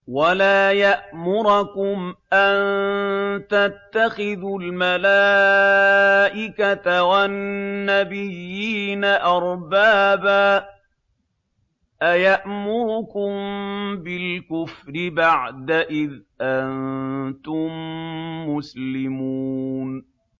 وَلَا يَأْمُرَكُمْ أَن تَتَّخِذُوا الْمَلَائِكَةَ وَالنَّبِيِّينَ أَرْبَابًا ۗ أَيَأْمُرُكُم بِالْكُفْرِ بَعْدَ إِذْ أَنتُم مُّسْلِمُونَ